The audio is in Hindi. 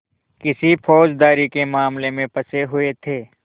किसी फौजदारी के मामले में फँसे हुए थे